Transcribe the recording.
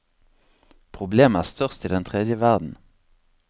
Problemet er størst i den tredje verden.